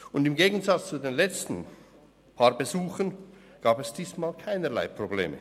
Und im Gegensatz zu den letzten paar Besuchern gab es diesmal keinerlei Probleme.